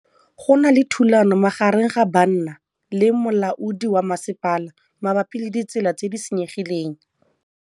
Go na le thulanô magareng ga banna le molaodi wa masepala mabapi le ditsela tse di senyegileng.